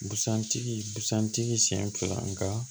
Busan tigi busan tigi sen fila nga